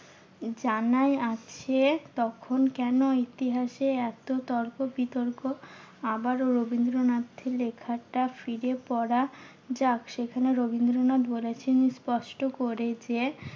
জানাই আছে। তখন কেন ইতিহাসে এত তর্ক বিতর্ক আবারও রবীন্দ্রনাথের লেখাটা ফিরে পড়া যাক। সেখানে রবীন্দ্রনাথ বলেছেন স্পষ্ট করে যে